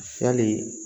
Yali